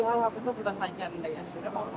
Xankənddə doğulub, burda Xankənddə yaşayır.